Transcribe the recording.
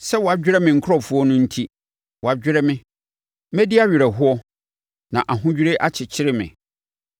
Sɛ wɔadwerɛ me nkurɔfoɔ no enti, wɔadwerɛ me; medi awerɛhoɔ, na ahodwirie akyekyere me.